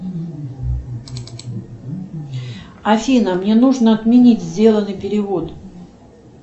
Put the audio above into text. афина мне нужно отменить сделанный перевод